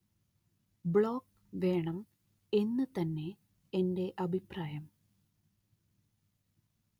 block വേണം എന്നു തന്നെ എന്റെ അഭിപ്രായം